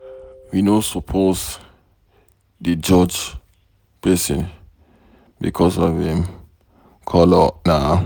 We no suppose dey judge pesin becos of em color na.